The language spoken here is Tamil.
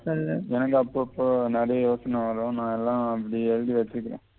சொல்லு எனக்கு அப்பப்போ நெறைய யோசின வரும் நான் அதெல்லாம் அப்படியே எழுதி வெச்சிக்கிறேன்